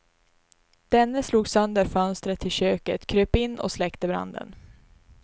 Denne slog sönder fönstret till köket, kröp in och släckte branden.